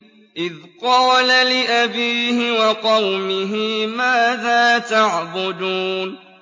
إِذْ قَالَ لِأَبِيهِ وَقَوْمِهِ مَاذَا تَعْبُدُونَ